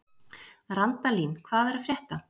Randalín, hvað er að frétta?